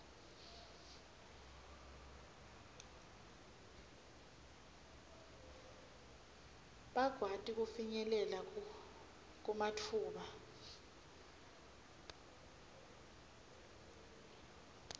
bakwati kufinyelela kumatfuba